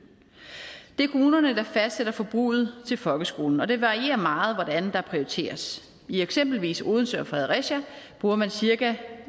det er kommunerne der fastsætter forbruget til folkeskolen og det varierer meget hvordan der prioriteres i eksempelvis odense og fredericia bruger man cirka